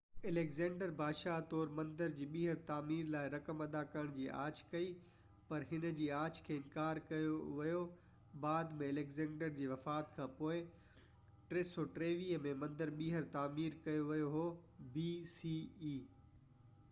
Alexander, بادشاهه طور، مندر جي ٻيهر تعمير لاءِ رقم ادا ڪرڻ جي آڇ ڪئي، پر هن جي آڇ کي انڪار ڪيو ويو بعد ۾، اليگزينڊر جي وفات کانپوءِ، 323 bce ۾ مندر ٻيهر تعمير ڪيو ويو هو